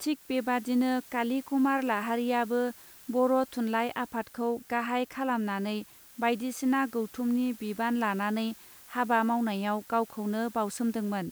थिक बेबादिनो काली कुमार लाहारीयाबो बर थुनलाइ आफादखौ गाहाय खालामनानै बायदिसिना गौथुमनि बिबान लानानै हाबा मावनायाव गावखौनो बावसोमदोंमोन.